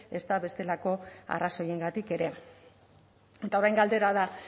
ezta bestelako arrazoiengatik ere eta orain galdera da